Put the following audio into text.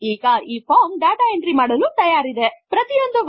000822 000821 let us click on the tab keys to go through each value